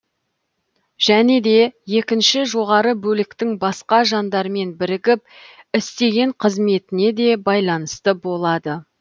және де екінші жоғары бөліктің басқа жандармен бірігіп істеген қызметіне де байланысты болады